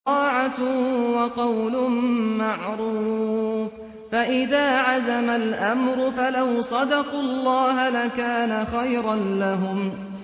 طَاعَةٌ وَقَوْلٌ مَّعْرُوفٌ ۚ فَإِذَا عَزَمَ الْأَمْرُ فَلَوْ صَدَقُوا اللَّهَ لَكَانَ خَيْرًا لَّهُمْ